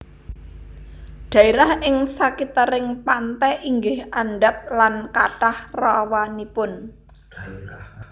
Dhaerah ing sakitering pante inggih andhap lan kathah rawanipun